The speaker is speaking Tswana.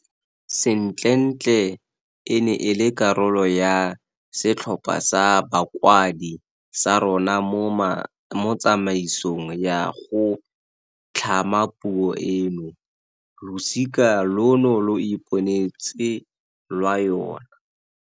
Sentlentle e ne e le karolo ya setlhopha sa bakwadi sa rona mo tsamaisong ya go tlhama puo eno. Losika lono lo iponetse lwa yona.